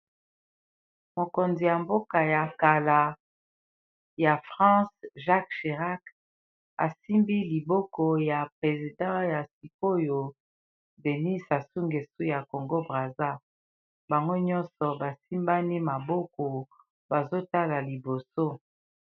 mokonzi ya mboka ya kala ya france jacques jirak asimbi liboko ya president ya sikoyo denis asungesu ya congo brasa bango nyonso basimbani maboko bazotala liboso